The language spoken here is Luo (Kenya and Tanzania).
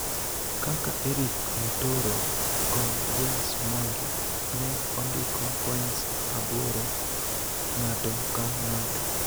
kaka Erick Mutoro kod James Mwangi ne ondiko points aboro ng'ato ka ng'ato.